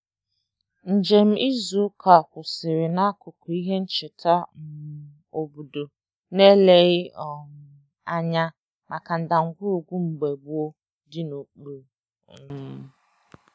Njem um izu um ụka ahụ kwụsịrị n'akụkụ ihe ncheta mba nke na-ele anya na ndagwurugwu akụkọ ihe mere eme dị n'okpuru